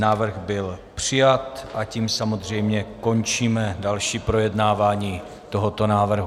Návrh byl přijat, a tím samozřejmě končíme další projednávání tohoto návrhu.